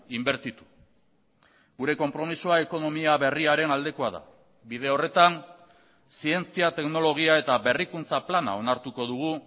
inbertitu gure konpromisoa ekonomia berriaren aldekoa da bide horretan zientzia teknologia eta berrikuntza plana onartuko dugu